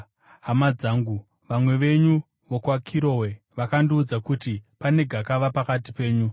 Hama dzangu, vamwe venyu vokwaKirowe vakandiudza kuti pane gakava pakati penyu.